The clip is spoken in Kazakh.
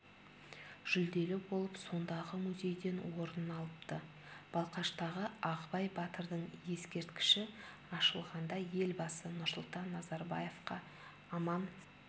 жүлделі болып сондағы музейден орын алыпты балқаштағы ағыбай батырдың ескерткіші ашылғанда елбасы нұрсұлтан назарбаевқа аман